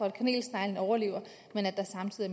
at kanelsneglen overlever men at der samtidig